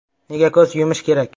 Nega ko‘z yumish kerak?